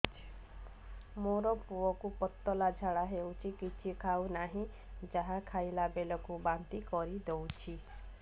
ମୋ ପୁଅ କୁ ପତଳା ଝାଡ଼ା ହେଉଛି କିଛି ଖାଉ ନାହିଁ ଯାହା ଖାଇଲାବେଳକୁ ବାନ୍ତି କରି ଦେଉଛି